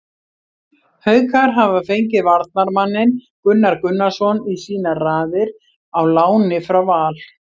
Haukar hafa fengið varnarmanninn Gunnar Gunnarsson í sínar raðir á láni frá Val.